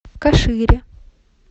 кашире